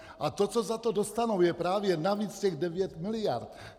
A to, co za to dostanou, je právě navíc těch 9 miliard.